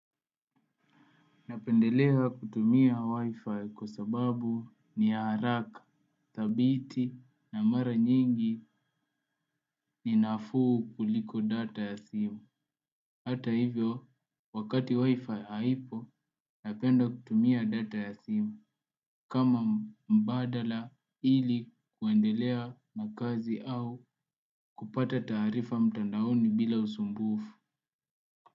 Napendelea kutumia wifi kwa sababu ni ya haraka, thabiti na mara nyingi ni nafuu kuliko data ya simu. Hata hivyo, wakati wifi haipo, napenda kutumia data ya simu kama mbadala ili kuendelea na kazi au kupata taarifa mtandaoni bila usumbufu.